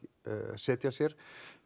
setja sér